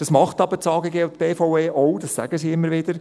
Das machen das AGG und die BVE auch, dies sagen sie immer wieder.